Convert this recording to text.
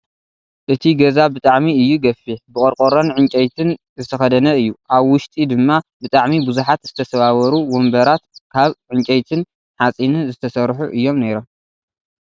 እቱይ ገዛ ብጣሕሚ እዩ ገፊሕ ብቆርቆሮን ዕንጨይቲን ዝተከደነ እዩ። ኣብ ውሽጢ ድማ ብጣዕሚ ብዙሓት ዝተሰባበሩን ወንበራት ካብ ሓፂንን ዕንጨይቲ ዝተሰሩሑ እዮም ነይሮም።